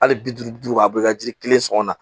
Hali bi duuru duuru a bi ka jiri kelen sɔngɔ na